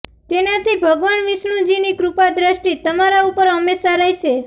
તેનાથી ભગવાન વિષ્ણુજી ની કૃપા દ્રષ્ટિ તમારા ઉપર હંમેશા રહેશે